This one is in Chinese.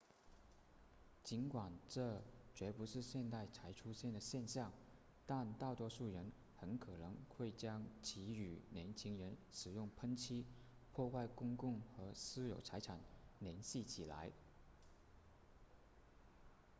尽管这绝不是现代才出现的现象但大多数人很可能会将其与年轻人使用喷漆破坏公共和私有财产联系起来